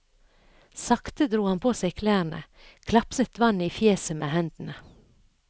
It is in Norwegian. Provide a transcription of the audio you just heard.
Sakte dro han på seg klærne, klapset vann i fjeset med hendene.